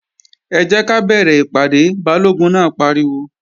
Ẹ jẹ́ ká bẹ̀rẹ̀ ìpàdé! Balógun náà pariwo